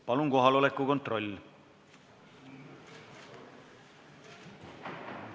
Palun teeme kohaloleku kontrolli!